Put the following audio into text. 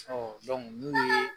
Ɔ munnuw ye